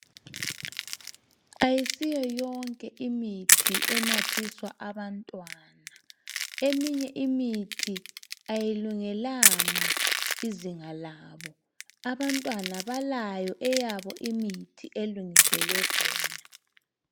Ayisiyo yonke imithi enathiswa abantwana. Eminye imithi ayilungelanga izinga labo. Abantwana balayo eyabo imithi elingiselwe bona.